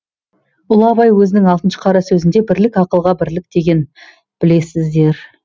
ұлы абай өзінің алтыншы қара сөзінде бірлік ақылға бірлік дегенін білесіздер